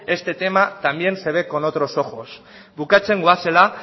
este tema también se ve con otros ojos bukatzen goazela